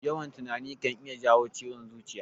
Yawan tunani kan iya jawo ciwon zuciya.